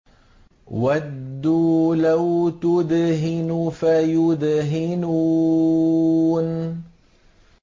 وَدُّوا لَوْ تُدْهِنُ فَيُدْهِنُونَ